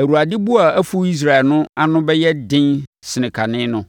Awurade bo a afu Israel no ano bɛyɛ den sen kane no.